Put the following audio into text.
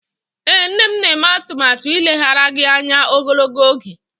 Ee, m na-eme atụmatụ ileghara gị anya ogologo oge